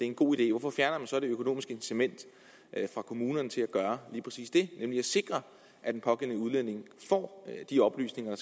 en god idé hvorfor fjerner man så det økonomiske incitament for kommunerne til at gøre lige præcis det nemlig at sikre at den pågældende udlænding får de oplysninger